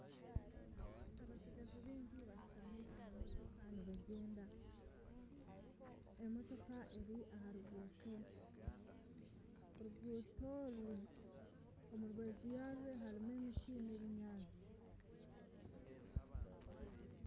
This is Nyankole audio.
Abatsigazi baingi bashutami aha motoka nibagyenda. Emotoka eri aha ruguuto. Oruguuto oru omu rubaju yarwo harimu emiti n'ebinyaatsi.